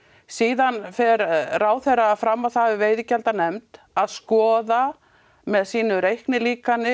síðan fer ráðherra fram á það við veiðigjaldanefnd að skoða með sínu reiknilíkani